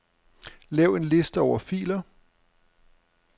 Lav en liste over filer.